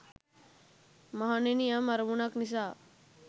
මහණෙනි යම් අරමුණක් නිසා